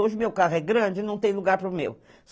Hoje o meu carro é grande e não tem lugar para o meu.